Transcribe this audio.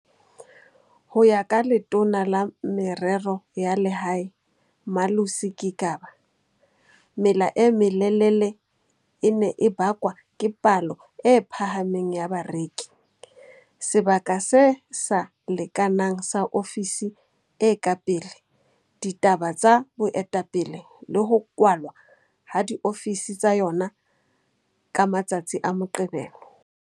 Ho ya ka Letona la Merero ya Lehae, Malusi Gigaba mela e melelele e ne e bakwa ke palo e phahameng ya bareki, sebaka se sa lekanang sa ofisi e ka pele, ditaba tsa boetapele le ho kwalwa ha diofisi tsa yona ka matsatsi a Moqebelo.